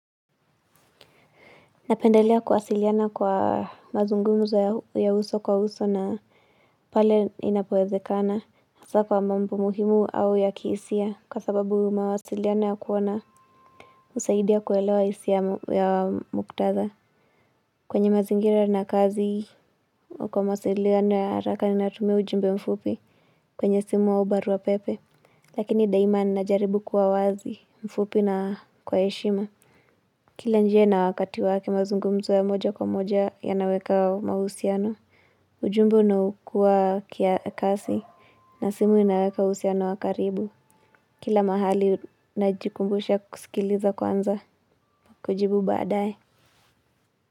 Napendelea kuwasiliana kwa mazungumzo ya uso kwa uso na pale inapowezekana hasa kwa mambo muhimu au ya kihisia kwa sababu mawasiliano ya kuona husaidia kuelewa hisia muktadha. Kwenye mazingira na kazi ama kwa mawasiliano ya haraka natumia ujumbe mfupi kwenye simu au barua pepe. Lakini daima ninajaribu kuwa wazi mfupi na kwa heshima. Kila njia na wakati wake mazungumzo ya moja kwa moja yanaweka mahusiano. Ujumbe unakuwa kasi na simu inaweka uhusiano wa karibu. Kila mahali najikumbusha kusikiliza kwanza kujibu baadaye.